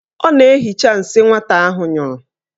Ọ na-ehicha nsị nwata ahụ nyụrụ.